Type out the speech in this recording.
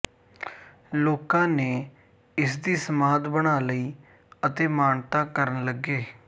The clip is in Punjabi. ਲੋਕਾਂ ਨੇ ਇਸ ਦੀ ਸਮਾਧ ਬਣਾ ਲਈ ਅਤੇ ਮਾਨਤਾ ਕਰਨ ਲੱਗੇ